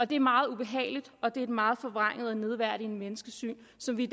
det er meget ubehageligt og det er et meget forvrænget og nedværdigende menneskesyn som vi